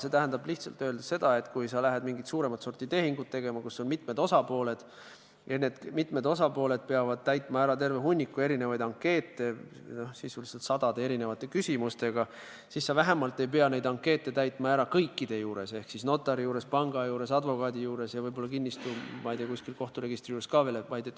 See tähendab lihtsalt öeldes seda, et kui sa lähed tegema mingisugust suuremat sorti tehingut, millel on mitu osapoolt, ja need mitu osapoolt peavad täitma ära terve hunniku ankeete, milles on sisuliselt sadu erinevaid küsimusi, siis vähemalt ei pea sa neid ankeete täitma ära kõikide juures ehk notari juures, panga juures, advokaadi juures ja võib-olla, ma ei tea, ka kuskil kohturegistri juures.